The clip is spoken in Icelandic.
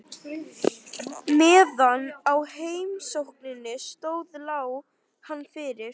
Meðan á heimsókninni stóð lá hann fyrir.